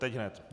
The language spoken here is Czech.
Teď hned.